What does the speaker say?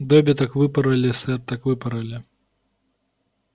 добби так выпороли сэр так выпороли